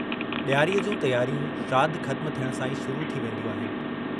डियारीअ जूं तियारियूं श्राद्ध खत्मु थियण सां ई शुरू थी वेन्दियूं आहिनि।